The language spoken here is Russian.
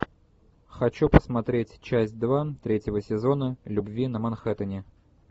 хочу посмотреть часть два третьего сезона любви на манхэттене